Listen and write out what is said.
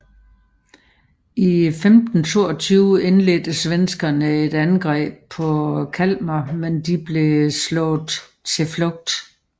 I 1522 indledte svenskerne et angreb på Kalmar men de blev slået på flugt